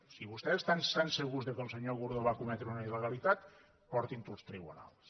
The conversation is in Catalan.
si vostès estan tan segurs que el senyor gordó va cometre una il·legalitat portin ho als tribunals